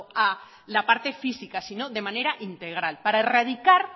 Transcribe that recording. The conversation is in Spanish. a la parte física sino de manera integral para erradicar